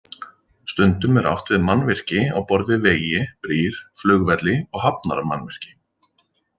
Stundum er átt við mannvirki á borð við vegi, brýr, flugvelli og hafnarmannvirki.